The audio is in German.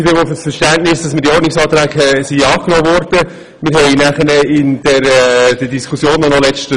Wir haben in der Fraktion nochmals über die Wahlen diskutiert.